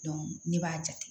ne b'a jate